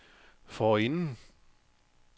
forinden